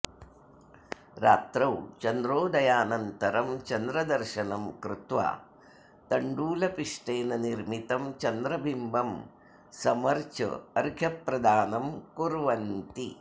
रात्रौ चन्द्रोदयानन्तरं चन्द्रदर्शनं कृत्वा तण्डुलपिष्टेन निर्मितं चन्द्रबिम्बं समर्च्य अर्घ्यप्रदानं कुर्वन्ति